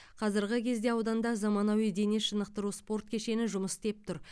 қазіргі кезде ауданда заманауи дене шынықтыру спорт кешені жұмыс істеп тұр